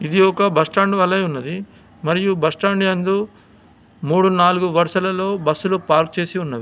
ఇది ఒక బస్టాండ్ వలె ఉన్నది మరియు బస్టాండ్ యందు మూడు నాలుగు వరుసలలో బస్సులు పార్క్ చేసి ఉన్నవి.